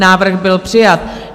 Návrh byl přijat.